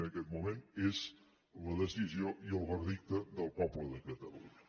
en aquest moment és la decisió i el veredicte del poble de catalunya